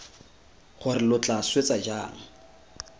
gore lo tla swetsa jang